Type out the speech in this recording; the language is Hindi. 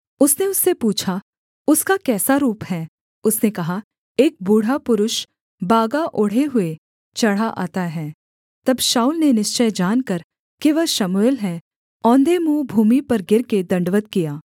उसने उससे पूछा उसका कैसा रूप है उसने कहा एक बूढ़ा पुरुष बागा ओढ़े हुए चढ़ा आता है तब शाऊल ने निश्चय जानकर कि वह शमूएल है औंधे मुँह भूमि पर गिरकर दण्डवत् किया